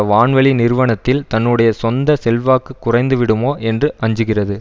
வான்வழி நிறுவனத்தில் தன்னுடைய சொந்த செல்வாக்கு குறைந்துவிடுமோ என்று அஞ்சுகிறது